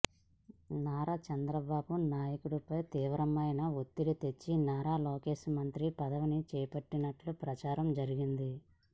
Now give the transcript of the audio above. నారా చంద్రబాబు నాయుడిపై తీవ్రమైన ఒత్తిడి తెచ్చి నారా లోకేష్ మంత్రి పదవిని చేపట్టినట్లు ప్రచారం జరిగింది